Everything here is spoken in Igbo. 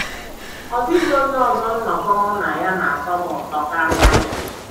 Ọ dịghị onye ọzọ nnọkọ mụ na ya na - atọ m ụtọ karịa ya.